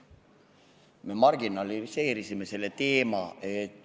Me marginaliseerisime selle teema.